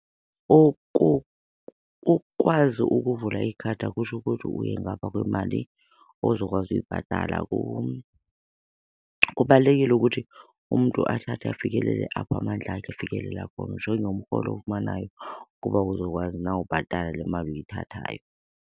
Ukukwazi ukuvula ikhadi akutsho ukuthi uye ngapha kwemali ozokwazi uyibhatala. Kubalulekile ukuthi umntu athathe afikelele apho amandla akhe efikelela khona, ujonge umrholo owufumanayo ukuba uzokwazi na ubhatala le mali uyithathayo.